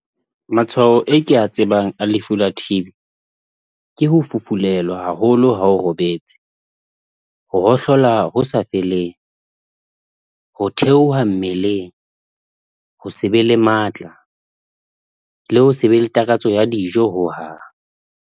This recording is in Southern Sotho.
Matshwao e ke a tsebang a lefu la T_B, ke ho fufulelwa haholo ha o robetse, ho hohlola ho sa feleng, ho theoha mmeleng, ho se be le matla le ho se be le takatso ya dijo ho hang.